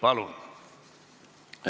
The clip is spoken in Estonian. Palun!